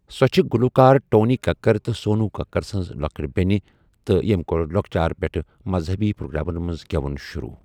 سۄ چھِ گُلوکار ٹونی کَکَر تہٕ سونو کَکَر سٕنٛز لۄکٔٹؠ بیٚنہِ تہِ یم کۆر لۄکچار پؠٹھ مَذہنی پروگرامَن مَنٛز گؠوُن شۆروٗع.